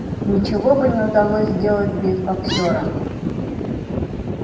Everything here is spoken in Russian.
ничего бы не удалось сделать без боксёра